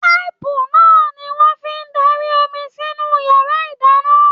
Paipu náà ní wọn fí darí omi sinú yàrá ìdáná.